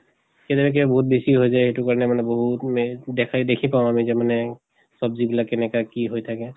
কেতিয়াবা কিবা বিহুত বেছি হৈ যায় সেইটো কাৰণে মানে বহুত মেহ দেখে দেখি পাওঁ আমি যে মানে চব্জি বিলাক কেনেকে কি হৈ থাকে